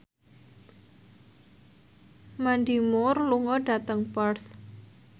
Mandy Moore lunga dhateng Perth